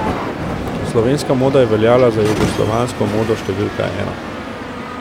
Slovenska moda je veljala za jugoslovansko modo številko ena.